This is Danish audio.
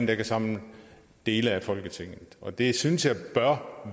der kan samle dele af folketinget og det synes jeg bør